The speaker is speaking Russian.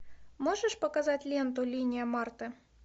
можешь показать ленту линия марты